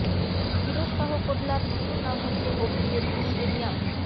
ফিরোজ শাহ কোটলার নতুন নাম হচ্ছে অরুণ জেটলি স্টেডিয়াম